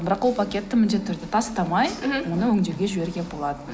бірақ ол пакетті міндетті түрде тастамай мхм оны өңдеуге жіберуге болады